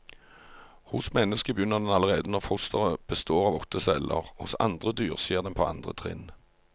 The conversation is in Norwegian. Hos mennesket begynner den allerede når fosteret består av åtte celler, hos andre dyr skjer den på andre trinn.